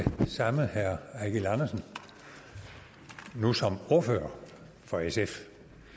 samme herre eigil andersen nu som ordfører for sf